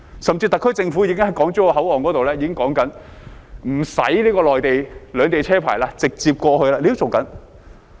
甚至特區政府已經在港珠澳口岸考慮無需兩地車牌，直接通關。